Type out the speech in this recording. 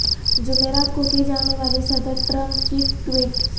جمعرات کو کی جانے والی صدر ٹرمپ کی ٹویٹ